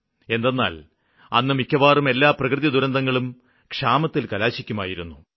എന്തെന്നാല് അന്ന് മിക്കവാറും എല്ലാ പ്രകൃതിദുരന്തങ്ങളും ക്ഷാമത്തില് കലാശിക്കുമായിരുന്നു